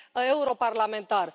europarlamentar.